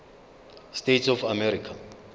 states of america